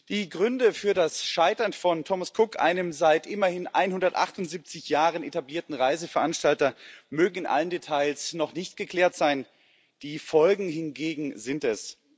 Die Gründe für das Scheitern von Thomas Cook einem seit immerhin 178 Jahren etablierten Reiseveranstalter mögen noch nicht in allen Details geklärt sein, die Folgen hingegen sind es.